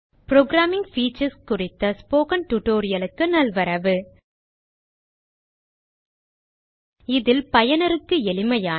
programming features குறித்த spoken tutorial க்கு நல்வரவு இதில் பயனருக்கு எளிமையான